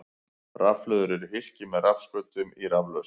Rafhlöður eru hylki með rafskautum í raflausn.